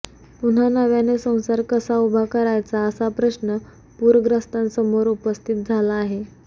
पुन्हा नव्याने संसार कसा उभा करायचा असा प्रश्न पूरग्रस्तांसमोर उपस्थित झाला आहे